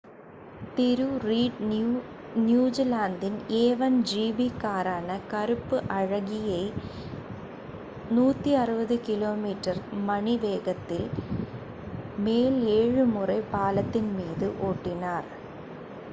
திரு Reid நியூஜிலாந்தின் a1 GP காரான கருப்பு அழகியை 160 கிமீ / மணி வேகத்திற்கு மேல் ஏழு முறை பாலத்தின் மீது ஓட்டினார்